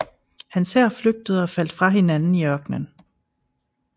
Hans hær flygtede og faldt fra hinanden i ørkenen